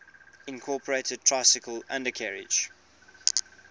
incorporated tricycle undercarriage